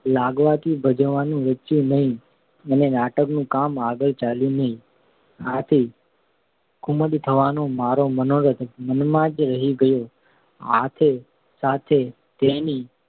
લાગવાથી ભજવવાનું રુચ્યું નહિ અને નાટકનું કામ આગળ ચાલ્યું નહિ. આથી કુમુદ થવાનો મારો મનોરથ મનમાં જ રહી ગયો. સાથે સાથે તેની